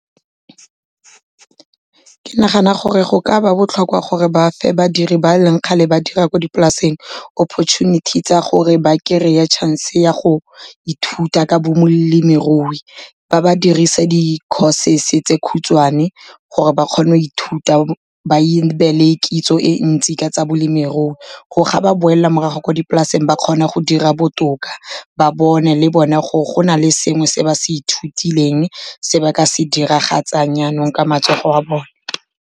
Ke nagana gore go ka ba botlhokwa gore ba fe badiri ba leng kgale ba dira ko dipolaseng opportunity tsa gore ba kry-e chance ya go ithuta ka bolemirui. Ba ba dirise di-courses tse khutshwane, gore ba kgone go ithuta ba be le kitso e ntsi ka tsa balemirui. Gore ga ba boela morago kwa dipolaseng ba kgone go dira botoka, ba bone le bone gore go na le sengwe se ba se ithutileng, se ba ka se diragatsang yanong ka matsogo a bone.